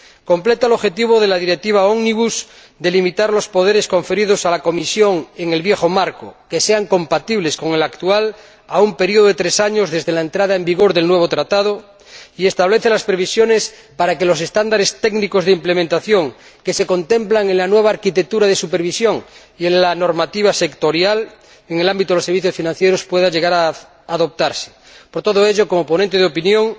Completa el objetivo de la Directiva Ómnibus de limitar los poderes conferidos a la Comisión en el viejo marco que sean compatibles con el actual a un periodo de tres años desde la entrada en vigor del nuevo Tratado, y establece las previsiones para que los estándares técnicos de ejecución, que se contemplan en la nueva arquitectura de supervisión y en la normativa sectorial en el ámbito de los servicios financieros, puedan llegar a adoptarse. Por todo ello, como ponente de opinión